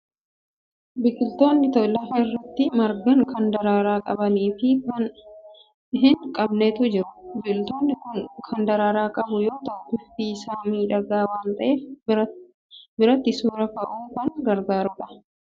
Biqiltoonni lafa irratti margan kan daraaraa qabanii fi kan hin qabnetu jiru. Biqiltuun kun kan daraaraa qabu yoo ta'u, bifti isaa miidhagaa waan ta'eef biratti suuraa ka'uuf kan gargaaru dha.